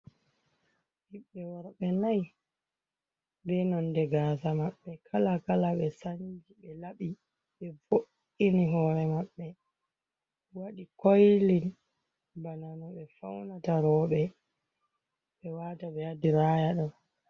Ɓiɓɓe wurbe nai be nonde gasa maɓɓe kala kala, be sanci, ɓe laɓi ɓe vo’’ini hore maɓɓe wadi koilin bana no ɓe faunata roɓe ɓe wata ɓe hadiraya ɗo.